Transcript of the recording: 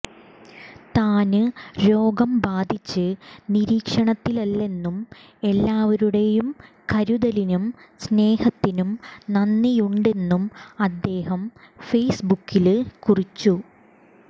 താന് രോഗം ബാധിച്ച് നിരീക്ഷണത്തിലല്ലെന്നും എല്ലാവരുടെയും കരുതലിനും സ്നേഹത്തിനും നന്ദിയുണ്ടെന്നും അദ്ദേഹം ഫേസ്ബുക്കില് കുറിച്ചു